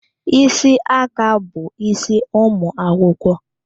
Ísì aka bụ isi ụmụ akwụkwọ.